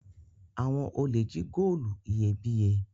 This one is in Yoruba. Awọn olè jí góòlù iyebíye